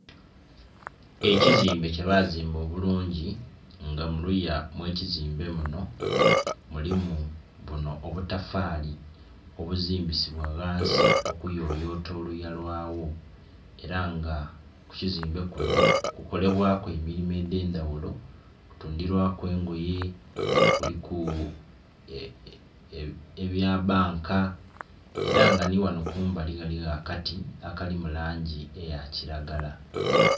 Ekizimbe kye bazimba obulungi nga muluya mw'ekizimbe muno mulimu buno obutafaali obuzimbisibwa ghansi, okuyoyota oluya lwagho. Era nga ku kizimbe kuno kukolebwaku emirimo edh'endhaghulo, kutundhirwaku engoye, kuliku ebya banka, era nga nhighano kumbali ghaligho akati akali mu langi eya kiragala.